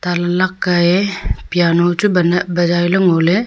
alag ka ye piano chu bazai le ngole.